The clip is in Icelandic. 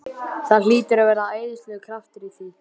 Það hlýtur að vera æðislegur kraftur í því!